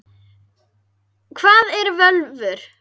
Hvað eru völvur?